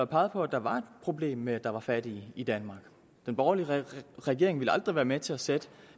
peget på at der var et problem med at der var fattige i danmark den borgerlige regering ville aldrig være med til at sætte